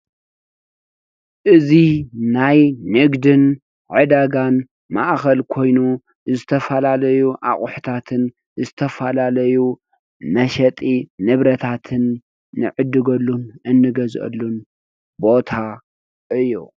እዙይ ናይ ንግድን ዕዳጋን ማእከል ኮይኑ ዝተፈላለዩ ኣቁሕታትን ዝተፈላለዩ መሸጢ ንብረታትን ንዕድገሉ እንገዝአሉን ቦታ እዩ።